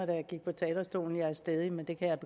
da jeg gik på talerstolen jeg var stædig men det kan jeg